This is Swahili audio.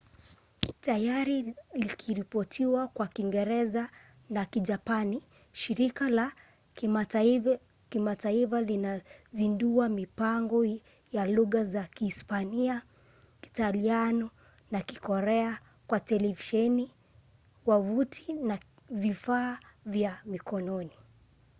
tayari likiripoti kwa kiingereza na kijapani shirika la kimataifa linazindua mipango ya lugha za kihispania kiitaliano na kikorea kwa televisheni wavuti na vifaa vya mkononi